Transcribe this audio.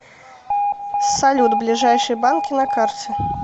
салют ближайшие банки на карте